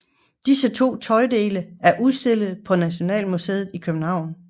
Disse to tøjdele er udstillet på Nationalmuseet i København